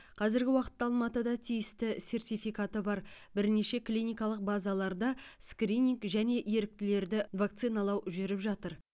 қазіргі уақытта алматыда тиісті сертификаты бар бірнеше клиникалық базаларда скрининг және еріктілерді вакциналау жүріп жатыр